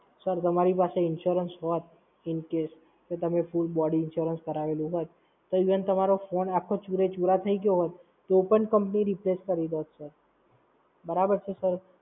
Sir તમારી પાસે Insurance હોત ઈન કેસ, તો તમે ફૂલ બોડી Insurance કારવેલું હોત, તો ઈવન તમારો ફોન આખ્ખો ચૂરે ચૂરા થઈ ગયો હોત, તો પણ Company Replace કરી દેત સર. બરાબર છે Sir?